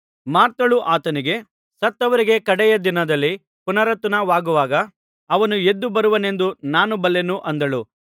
ಮಾರ್ಥಳು ಆತನಿಗೆ ಸತ್ತವರಿಗೆ ಕಡೆಯ ದಿನದಲ್ಲಿ ಪುನರುತ್ಥಾನವಾಗುವಾಗ ಅವನೂ ಎದ್ದು ಬರುವನೆಂದು ನಾನು ಬಲ್ಲೆನು ಅಂದಳು